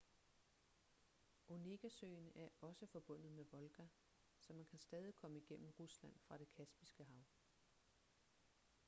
onegasøen er også forbundet med volga så man kan stadig komme igennem rusland fra det kaspiske hav